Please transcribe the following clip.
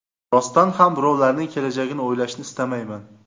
Rostdan ham birovlarning kelajagini o‘ylashni istamayman.